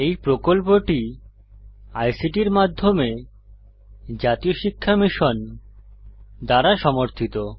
এই প্রকল্পটি আইসিটির মাধ্যমে জাতীয় শিক্ষা মিশন দ্বারা সমর্থিত